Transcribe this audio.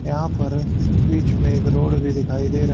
यहां पर बीच में एक रोड भी दिखाई दे रा--